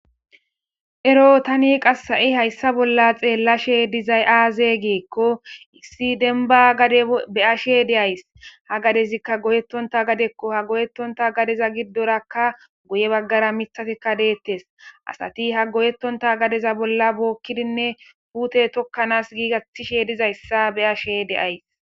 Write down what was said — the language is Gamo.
ero tani qassa7i hayssa bolla xeellashe dizay aaze geekko issi denba gade be ashe de7ays ha gadezikka goyettonta gadekko ha goyettonta gadeza giddorakka guye baggara mithatikka deettes asati ha goyettonta gadeza bolla bookkidinne puute tokkanaas giigattishe dizayssa be ashe deays